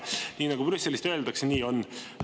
Nii nagu Brüsselist öeldakse, nii on.